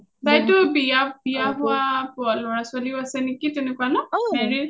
তাইটো বিয়া হোৱা লৰা ছোৱালিও আছে নেকি married সেনেকুৱা ন?